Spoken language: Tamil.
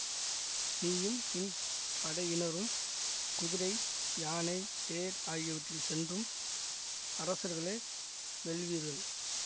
நீயும் நின் படையினரும் குதிரை யானை தேர் ஆகியவற்றில் சென்றும் அரசர்களை வெல்வீர்கள்